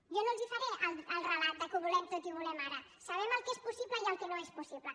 jo no els faré el relat que ho volem tot i ho volem ara sabem el que és possible i el que no és possible